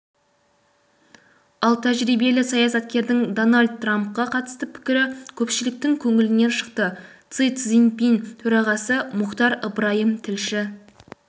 ал тәжірибелі саясаткердің дональд трампқа қатысты пікірі көпшіліктің көңілінен шықты си цзиньпин төрағасы мұхтар ыбырайым тілші